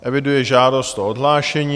Eviduji žádost o odhlášení.